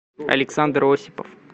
александр осипов